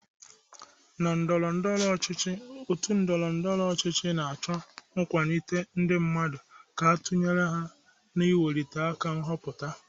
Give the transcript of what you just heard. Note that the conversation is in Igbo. N'ndọrọndọrọ ọchịchị, ndị otu ndọrọndọrọ ọchịchị na-acho nkwado ndị mmadụ ka a tunyere ha n'nweliaka nhọpụta.